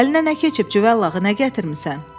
Əlinə nə keçib Cüvəllağı nə gətirmisən?